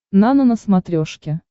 нано на смотрешке